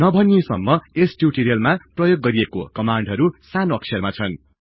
नभनिए सम्म यस टिउटोरियलमा प्रयोग गरिएको कमान्डहरु सानो अक्षरमा छन्